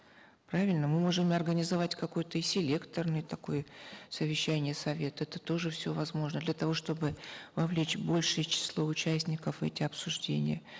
правильно мы можем и организовать какое то и селекторное такое совещание совета это тоже все возможно для того чтобы вовлечь большее число участников в эти обсуждения